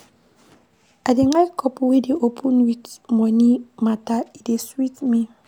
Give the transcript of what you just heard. I dey like couple wey dey open wit moni mata, e dey sweet me.